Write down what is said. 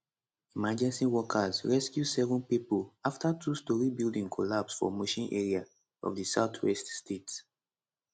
emergency workers rescue seven pipo afta two storey building collapse for mushin area of di southwest state